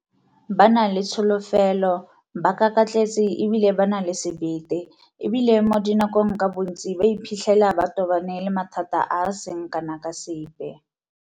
Ba na le tsholofelo, ba kakatletse e bile ba na le sebete, e bile mo dinakong ka bontsi ba iphitlhela ba tobane le mathata a a seng kana ka sepe.